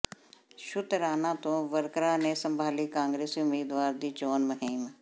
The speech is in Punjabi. ਸ਼ੁਤਰਾਣਾ ਤੋਂ ਵਰਕਰਾਂ ਨੇ ਸੰਭਾਲੀ ਕਾਂਗਰਸੀ ਉਮੀਦਵਾਰ ਦੀ ਚੋਣ ਮੁਹਿੰਮ